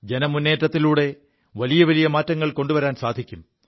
ജനമുേറ്റത്തിലൂടെ വലിയ വലിയ മാറ്റങ്ങൾ കൊണ്ടുവരാൻ സാധിക്കും